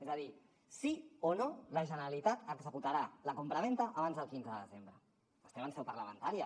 és a dir sí o no la generalitat executarà la compravenda abans del quinze de desembre estem en seu parlamentària